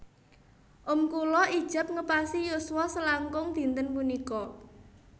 Om kula ijab ngepasi yuswa selangkung dinten punika